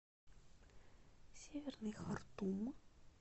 северный хартум